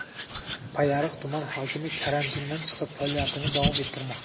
Payariq tumani hokimi karantindan chiqib, faoliyatini davom ettirmoqda.